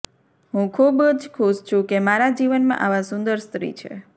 હું ખૂબ જ ખુશ છું કે મારા જીવનમાં આવા સુંદર સ્ત્રી છે